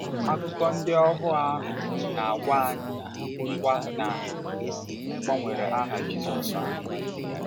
Akụkọ ndị ohuo ahụ na-agwa anyịkwa na e gbanwere aha Jisọshụ.